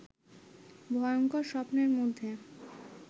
ভয়ংকর স্বপ্নের মধ্যে